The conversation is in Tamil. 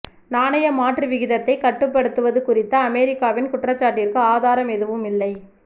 நாணய மாற்று விகிதத்தைக் கட்டுப்படுத்துவது குறித்த அமெரிக்காவின் குற்றச்சாட்டிற்கு ஆதாரம் எதுவும் இல்லை